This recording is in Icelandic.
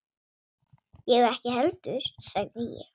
Ég ekki heldur sagði ég.